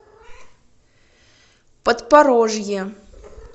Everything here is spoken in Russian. подпорожье